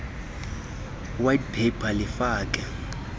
white paper lifake